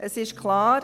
Es ist klar: